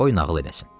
Qoy nağıl eləsin.